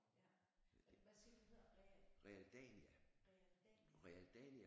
Ja hvad siger du det hedder Real Realdania